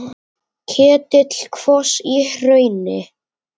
Ketill kvos í hrauni.